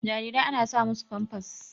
Jarirai ana sa musu Famfas